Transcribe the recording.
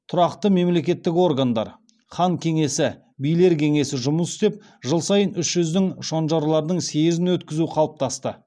тәуке ханның тұсында тұрақты мемлекеттік органдар хан кеңесі билер кеңесі жұмыс істеп жыл сайын үш жүздің шонжарларының съезін өткізу қалыптасты